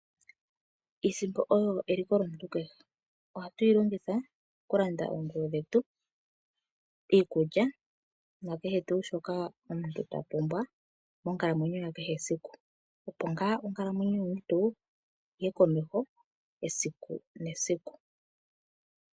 Iisimpo oyo eliko lyomuntu kehe. Ohatu yi longitha kulanda oompumbwe dhetu, iikulya, nakehe tuu shoka omuntu ta pumbwa monkalamwenyo yakehe siku. Opo ngaa onkalamwenyo yomuntu yi ye komeho esiku nesiku.